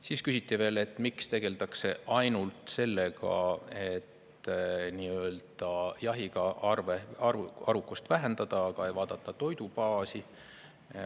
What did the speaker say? Siis küsiti, miks tegeldakse ainult sellega, et nii-öelda jahiga arvukust vähendada, aga ei vaadata toidubaasi.